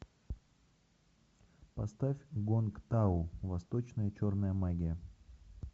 поставь гонг тау восточная черная магия